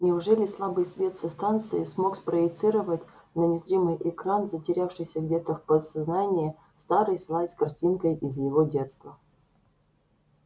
неужели слабый свет со станции смог спроецировать на незримый экран затерявшийся где-то в подсознании старый слайд с картинкой из его детства